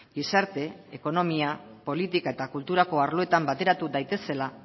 gizarte ekonomia politika eta kulturako arloetan bateratu daitezela